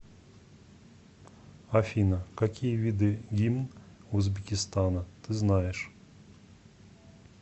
афина какие виды гимн узбекистана ты знаешь